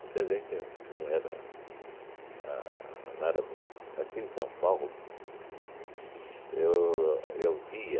Você vê que não era a não era bem... Aqui em São Paulo, eu eu via,